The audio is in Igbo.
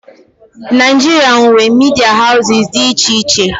Naịjirịa nwee media houses dị iche iche.